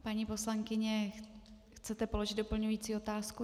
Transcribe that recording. Paní poslankyně, chcete položit doplňující otázku?